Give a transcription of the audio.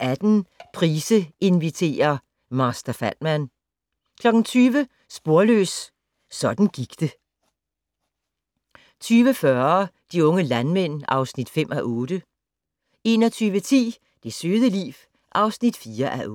18:00: Price inviterer - Master Fatman 20:00: Sporløs - sådan gik det 20:40: De unge landmænd (5:8) 21:10: Det søde liv (4:8)